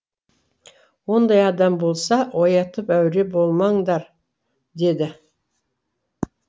ондай адам болса оятып әуре болмаңдар деді